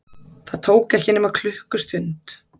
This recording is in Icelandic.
Það tók ekki nema klukkustund.